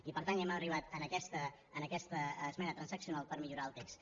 i per tant hem arribat en aquesta esmena transaccional per millorar el text